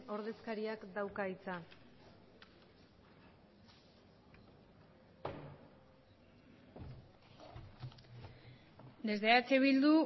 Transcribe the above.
ordezkariak dauka hitza desde eh bildu